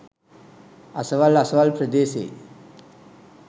අසවල් අසවල් ප්‍රදේශයේ